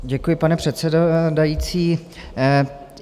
Děkuji, pane předsedající.